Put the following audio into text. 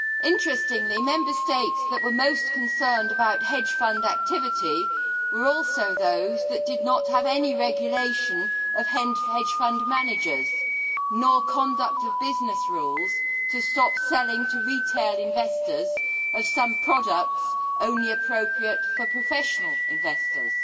Interestingly, the Member States that were most concerned about hedge fund activity were also those that did not have any regulation of hedge fund managers nor conduct of business rules to stop the selling to retail investors of some products only appropriate for professional investors.